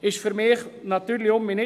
Das leuchtet mir natürlich nicht ein.